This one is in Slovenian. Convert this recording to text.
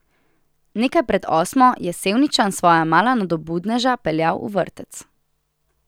Nekaj pred osmo je Sevničan svoja mala nadobudneža peljal v vrtec.